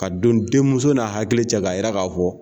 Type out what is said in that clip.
Ka don denmuso n'a hakili cɛ ka yira k'a fɔ